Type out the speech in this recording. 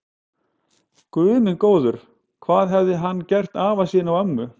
Guð minn góður, hvað hafði hann gert afa sínum og ömmu.